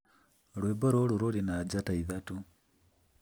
rwĩmbo rũu rũrĩ na njata ithatũ